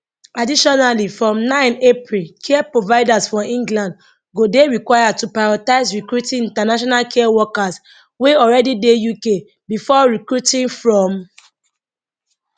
additionally from 9 april care providers for england go dey required to prioritise recruiting international care workers wey already dey uk before recruiting from overseas overseas